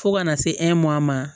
Fo ka na se ma